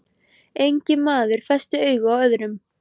Enginn maður festi augu á öðrum.